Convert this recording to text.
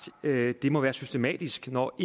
at det må være systematisk når